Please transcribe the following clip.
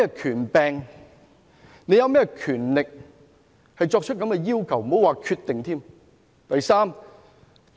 他們有甚麼權力提出這樣的要求，更不要說決定。